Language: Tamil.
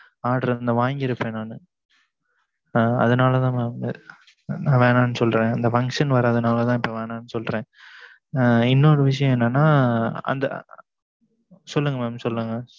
order வாங்கி இருப்பன் நான் அதுனால mam நா வேனான்னு சொல்லுறன் அந்த function வரன்லதான் இப்பம் வேனான்னு சொல்லுறன் இன்னு ஒரு விசியம் என்னன்னா சொல்லுங்க mam சொல்லுங்க